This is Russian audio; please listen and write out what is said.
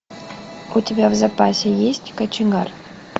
у тебя в запасе есть кочегар